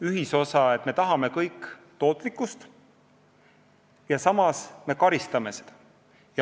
ühisosa, me tahame kõik tootlikkust, aga samas me karistame seda.